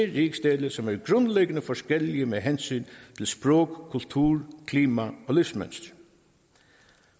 rigsdele som er grundlæggende forskellige med hensyn til sprog kultur klima og livsmønster